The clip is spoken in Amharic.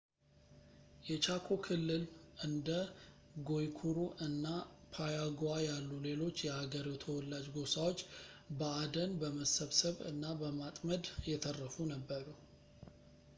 የቻኮ ክልል እንደ ጓይኩሩ እና ፓያጉዋ ያሉ ሌሎች የአገሬው ተወላጅ ጎሳዎች በአደን ፣ በመሰብሰብ እና በማጥመድ የተረፉ ነበሩ